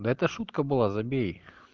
да это шутка была забей